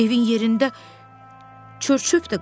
Evin yerində çörçöp də qalmayıb.